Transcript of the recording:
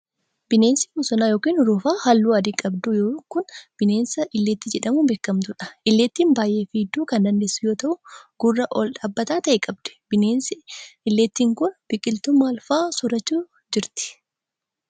Bineensi bosonaa yokin urufaa haalluu adii qabdu kun, bineensa illeentii jedhamuun beekamtuu dha. Illeentiin baay'ee fiiguu kan dandeessu yoo ta'u, gurra ol dhaabbataa ta'e qabdi. Bineensi illeentii kun, biqiltuu maal faa soorachuun jiraatti?